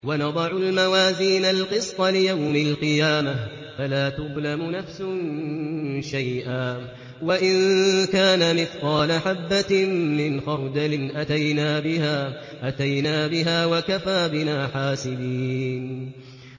وَنَضَعُ الْمَوَازِينَ الْقِسْطَ لِيَوْمِ الْقِيَامَةِ فَلَا تُظْلَمُ نَفْسٌ شَيْئًا ۖ وَإِن كَانَ مِثْقَالَ حَبَّةٍ مِّنْ خَرْدَلٍ أَتَيْنَا بِهَا ۗ وَكَفَىٰ بِنَا حَاسِبِينَ